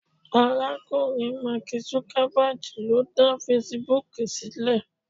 arakunrin mark Zuckerberg lo da Facebook silẹ